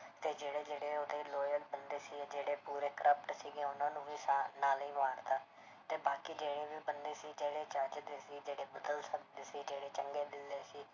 ਤੇ ਜਿਹੜੇ ਜਿਹੜੇ ਉਹਦੇ loyal ਬੰਦੇ ਸੀਗੇ, ਜਿਹੜੇ ਪੂਰੇ corrupt ਸੀਗੇ ਉਹਨਾਂ ਨੂੰ ਵੀ ਸਾ~ ਨਾਲੇ ਹੀ ਮਾਰ ਦਿੱਤਾ ਤੇ ਬਾਕੀ ਜਿਹੜੇ ਵੀ ਬੰਦੇ ਸੀਗੇ ਜਿਹੜੇ ਚੱਜ ਦੇ ਸੀ ਜਿਹੜੇ ਬਦਲ ਸਕਦੇ ਸੀ, ਜਿਹੜੇ ਚੰਗੇ ਦਿਲ ਦੇ ਸੀ,